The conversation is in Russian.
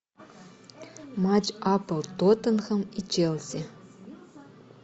матч апл тоттенхэм и челси